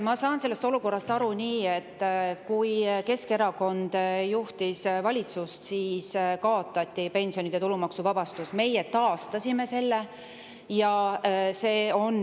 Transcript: Mina saan sellest aru nii, et kui Keskerakond juhtis valitsust, siis kaotati pensionide tulumaksuvabastus, meie taastasime selle.